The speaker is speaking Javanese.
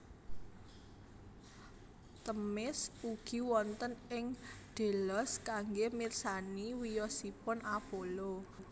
Themis ugi wonten ing Delos kanggé mirsani wiyosipun Apollo